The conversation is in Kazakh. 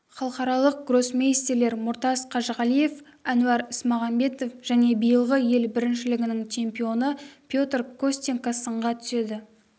халықаралық гроссмейстерлер мұртас қажығалиев әнуар ісмағамбетов және биылғы ел біріншілігінің чемпионы петр костенко сынға түседі